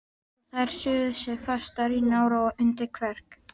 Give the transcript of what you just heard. Og þær sugu sig fastar í nára og undir kverk.